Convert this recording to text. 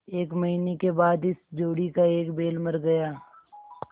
एक महीने के बाद इस जोड़ी का एक बैल मर गया